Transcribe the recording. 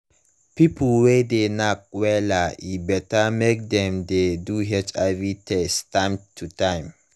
people wey de knack wella e better mk dem de do hiv test time to time